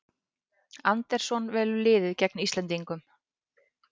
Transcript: Andersson velur liðið gegn Íslendingum